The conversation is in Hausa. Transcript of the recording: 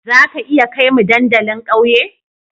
Za ka iya kai mu dandalin ƙauye?